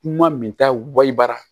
Kuma min ta wali bara